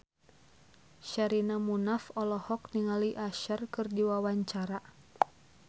Sherina Munaf olohok ningali Usher keur diwawancara